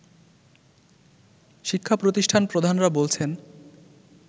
শিক্ষা প্রতিষ্ঠান প্রধানরা বলছেন